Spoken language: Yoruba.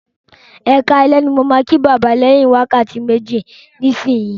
Ẹkáalẹ́ ní mo ma kí bàbá lẹ̀yìn wákàtí méjì sí ìsinsìnyín